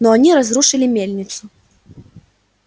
но они разрушили мельницу